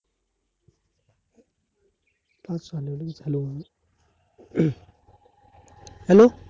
hello!